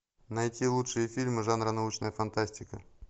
найти лучшие фильмы жанра научная фантастика